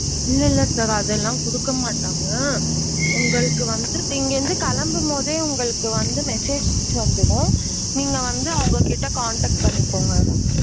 இல்ல இல்ல sir அது எல்லாம் குடுக்க மாட்டாங்க உங்கள்ளுக்கு வந்து நீங்க இங்க இருந்து கெளம்பும்போதே உங்கள்ளுக்கு வந்து messages வந்துரும் நீங்க வந்து அவுங்ககிட்ட contect பண்ணிக்கோங்க.